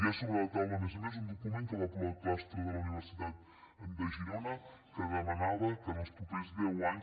hi ha sobre la taula a més a més un document que va aprovar el claustre de la universitat de girona que demanava que els propers deu anys